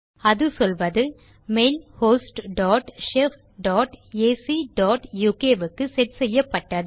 அது சொல்வது mail host dot shef dot AC dot UK க்கு செட் செய்யப்பட்டது